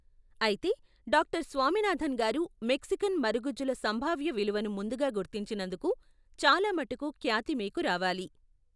అయితే, డాక్టర్ స్వామినాథన్ గారు, మెక్సికన్ మరుగుజ్జుల సంభావ్య విలువను ముందుగా గుర్తించినందుకు చాలా మటుకు ఖ్యాతి మీకు రావాలి.